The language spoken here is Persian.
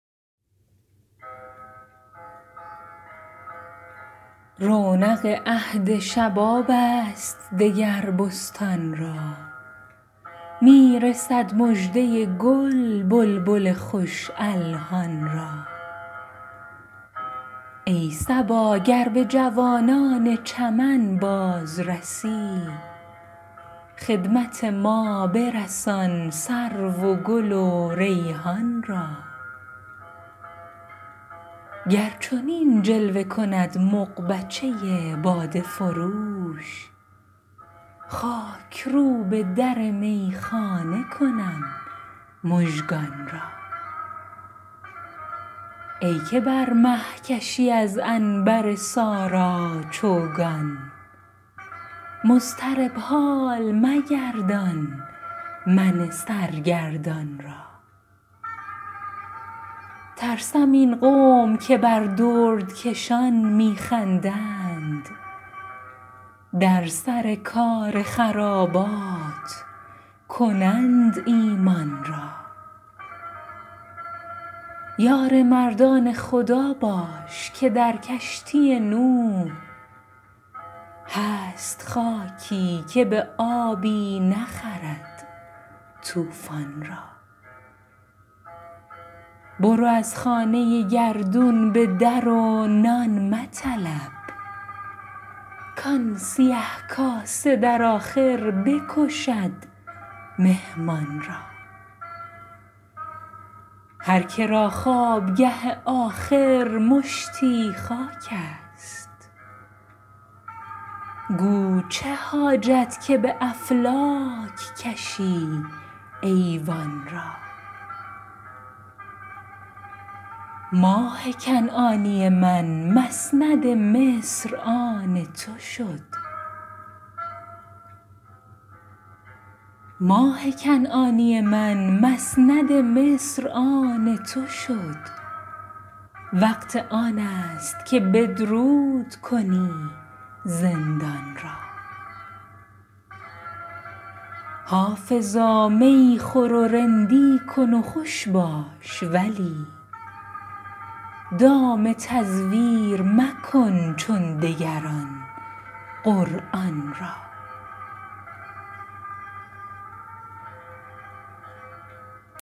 رونق عهد شباب است دگر بستان را می رسد مژده گل بلبل خوش الحان را ای صبا گر به جوانان چمن باز رسی خدمت ما برسان سرو و گل و ریحان را گر چنین جلوه کند مغبچه باده فروش خاک روب در میخانه کنم مژگان را ای که بر مه کشی از عنبر سارا چوگان مضطرب حال مگردان من سرگردان را ترسم این قوم که بر دردکشان می خندند در سر کار خرابات کنند ایمان را یار مردان خدا باش که در کشتی نوح هست خاکی که به آبی نخرد طوفان را برو از خانه گردون به در و نان مطلب کآن سیه کاسه در آخر بکشد مهمان را هر که را خوابگه آخر مشتی خاک است گو چه حاجت که به افلاک کشی ایوان را ماه کنعانی من مسند مصر آن تو شد وقت آن است که بدرود کنی زندان را حافظا می خور و رندی کن و خوش باش ولی دام تزویر مکن چون دگران قرآن را